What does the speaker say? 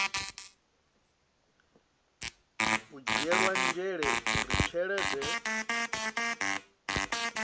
u dzhielwa nzhele uri tshelede